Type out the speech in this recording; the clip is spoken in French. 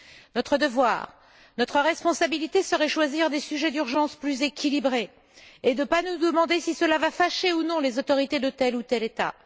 Notre devoir et notre responsabilité consisteraient à choisir des sujets d'urgence plus équilibrés et à ne pas nous demander si cela fâcherait ou non les autorités de tel ou tel État.